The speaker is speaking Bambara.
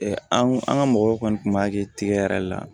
an ka mɔgɔw kɔni tun b'a kɛ tigɛ yɛrɛ le la